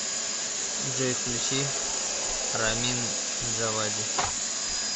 джой включи рамин джавади